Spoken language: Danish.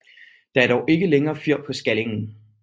Der er dog ikke længere fyr på Skallingen